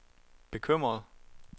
bekymret